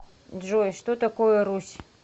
джой что такое русь